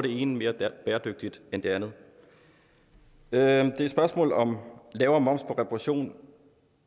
det ene mere bæredygtigt end det andet det er et spørgsmål om lavere moms på reparation